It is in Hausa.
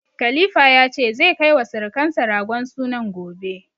Khalifa ya ce, zai kai wa sirukansa ragon sunan gobe.